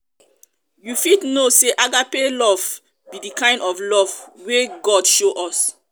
you fit know say agape agape love be di kind of love wey god show us.